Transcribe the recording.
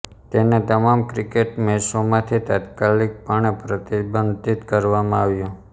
તેને તમામ ક્રિકેટ મેચોમાંથી તાત્કાલિક પણે પ્રતિબંધિત કરવામાં આવ્યો